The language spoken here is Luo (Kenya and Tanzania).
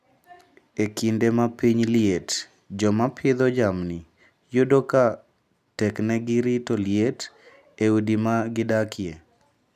E kinde ma piny liet joma pidho jamni yudo ka teknegi rito liet e udi ma gidakie.